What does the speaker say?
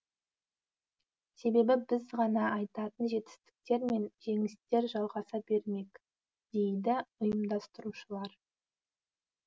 себебі біз ғана айтатын жетістіктер мен жеңістер жалғаса бермек дейді ұйымдастырушылар